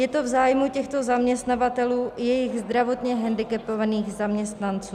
Je to v zájmu těchto zaměstnavatelů i jejich zdravotně hendikepovaných zaměstnanců.